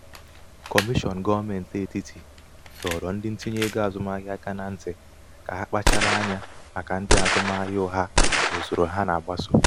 um kọmishọn gọọmentị etiti dọrọ ndị ntinye ego azụmahịa aka na ntị ka ha kpachara anya màkà ndị azụmahịa ugha na usoro ha na-agbaso